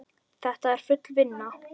Þetta er full vinna!